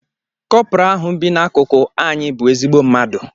Kopra ahu bi n'akụkụ anyị bụ ezigbo mmadụ.